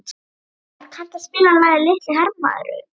Örvar, kanntu að spila lagið „Litli hermaðurinn“?